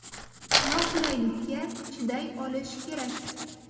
Noqulaylikka chiday olish kerak.